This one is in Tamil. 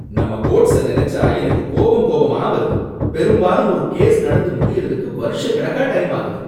நம்ம கோர்ட்ஸ நினைச்சா எனக்கு கோபம் கோபமா வருது, பெரும்பாலும் ஒரு கேஸ் நடந்து முடியறதுக்கு வருஷக்கணக்கா டைம் ஆகுது.